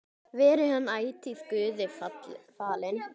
Veri hann ætíð Guði falinn.